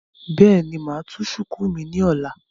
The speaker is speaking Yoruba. Bẹ́ẹ̀ni, mo máa tú shùkú mi ní ọ̀la